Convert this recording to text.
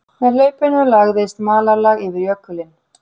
Með hlaupinu lagðist malarlag yfir jökulinn